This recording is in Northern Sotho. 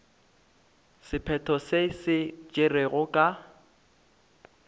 sephetho se se tšerwego ka